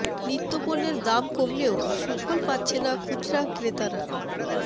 নিত্য পণ্যের দাম কমলেও সুফল পাচ্ছে না খুচরা ক্রেতারা